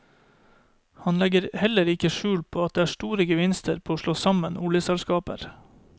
Han legger heller ikke skjul på at det er store gevinster på å slå sammen oljeselskaper.